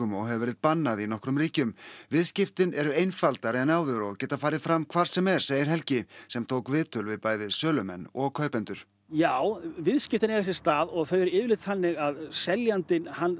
og hefur verið bannað í nokkrum ríkjum viðskiptin eru einfaldari en áður og geta farið fram hvar sem er segir Helgi sem tók viðtöl við bæði sölumenn og kaupendur já viðskiptin eiga sér stað og þau eru yfirleitt þannig að seljandinn